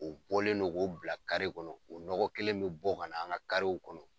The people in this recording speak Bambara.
O bɔlen don k'o bila kari kɔnɔ . O nɔgɔ kelen be bɔ ka na an ka kariw kɔnɔ.